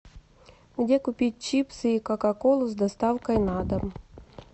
где купить чипсы и кока колу с доставкой на дом